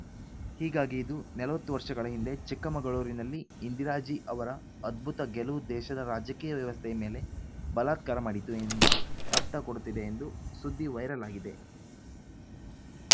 ಹೀಗಾಗಿ ಇದು ನಲವತ್ತು ವರ್ಷಗಳ ಹಿಂದೆ ಚಿಕ್ಕಮಗಳೂರಿನಲ್ಲಿ ಇಂದಿರಾಜೀ ಅವರ ಅದ್ಭುತ ಗೆಲುವು ದೇಶದ ರಾಜಕೀಯ ವ್ಯವಸ್ಥೆಯ ಮೇಲೆ ಬಲಾತ್ಕಾರ ಮಾಡಿತು ಎಂಬ ಅರ್ಥ ಕೊಡುತ್ತಿದೆ ಎಂದು ಸುದ್ದಿ ವೈರಲ್‌ ಆಗಿದೆ